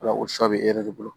Wala o sɔ bɛ e yɛrɛ de bolo